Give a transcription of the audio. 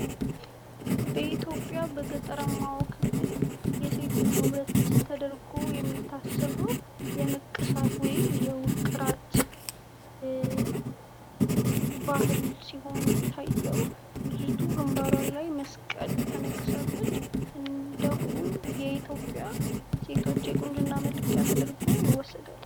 በሀገራችን በገጠሩ ክፍል የሴት ልጅ ውበት ተደርጎ የሚታሰበው የንቅሳት ወይም ውቅራት ባህል ሲሆን ሚታየው ልጅቷ ግንባሯ ላይ ተሰርታ የምናየው ሲሆን በኢትዮጵያ የሴት ልጅ ቁንጅና ተደርጎ ይወሰዳል ።